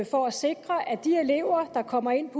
for at sikre at de elever der kommer ind